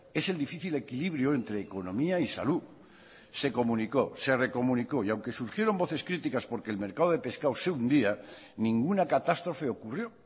es el difícil equilibrio entre economía y salud se comunicó se recomunicó y aunque surgieron voces críticas porque el mercado de pescado se hundía ninguna catástrofe ocurrió